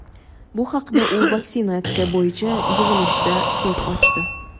Bu haqda u vaksinatsiya bo‘yicha yig‘ilishda so‘z ochdi.